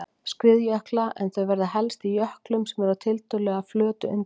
skriðjökla en þau verða helst í jöklum sem eru á tiltölulega flötu undirlagi.